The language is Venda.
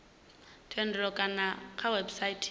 thendelo kana kha website ya